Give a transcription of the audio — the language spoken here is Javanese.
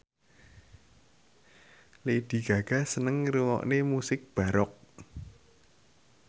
Lady Gaga seneng ngrungokne musik baroque